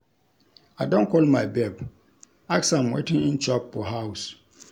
I don call my babe, ask am wetin im chop for house.